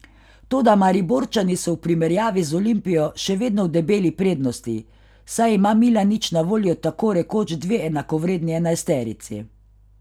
Toda Mariborčani so v primerjavi z Olimpijo še vedno v debeli prednosti, saj ima Milanič na voljo tako rekoč dve enakovredni enajsterici.